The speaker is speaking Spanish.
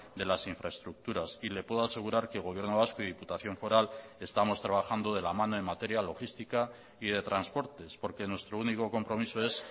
de las infraestructuras y le puedo asegurar que el gobierno vasco y diputación foral estamos trabajando de la mano en materia logística y de transportes porque nuestro único compromiso es